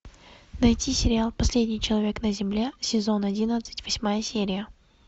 найти сериал последний человек на земле сезон одиннадцать восьмая серия